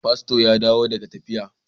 Pasto ya dawo daga tafiya.